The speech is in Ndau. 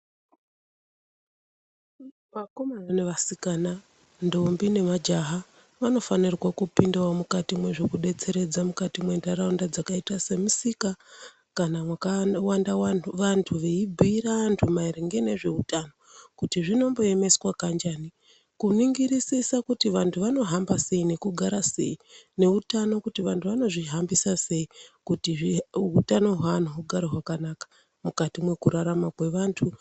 Vakomana nevasikana, ndombi nemajaha vanofanirwa kupindawo mukati mwezvekudetseredza mukati mwentaraunda dzakaita semisika kana mwakawanda vantu veibhuira vantu maringe nezveutano kuti zvinomboemeswa kanjani kuningirisisa kuti vantu vanohamba sei nekugara sei neutano kuti vantu vanozvihambisa sei kuti utano hweanhu hugare hwakanaka mukati mwekurarama kwevantu.